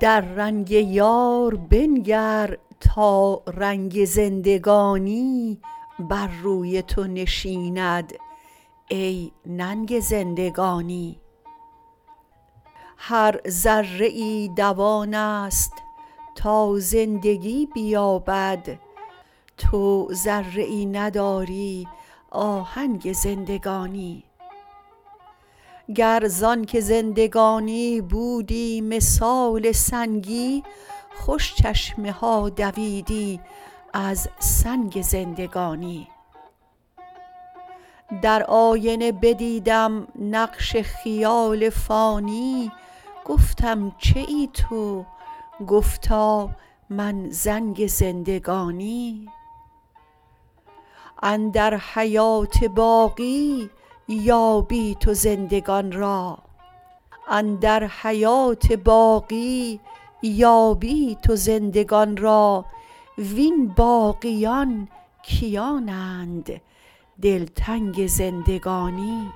در رنگ یار بنگر تا رنگ زندگانی بر روی تو نشیند ای ننگ زندگانی هر ذره ای دوان است تا زندگی بیابد تو ذره ای نداری آهنگ زندگانی گر ز آنک زندگانی بودی مثال سنگی خوش چشمه ها دویدی از سنگ زندگانی در آینه بدیدم نقش خیال فانی گفتم چه ای تو گفتا من زنگ زندگانی اندر حیات باقی یابی تو زندگان را وین باقیان کیانند دلتنگ زندگانی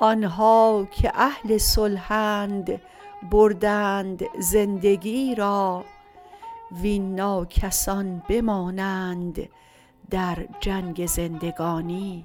آن ها که اهل صلحند بردند زندگی را وین ناکسان بمانند در جنگ زندگانی